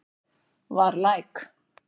Var læk